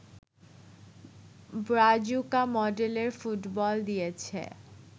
Brazuca মডেলের football দিয়েছে